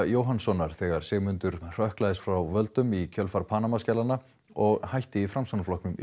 Jóhannssonar þegar Sigmundur hrökklaðist frá völdum í kjölfar Panamaskjalanna og hætti í Framsóknarflokknum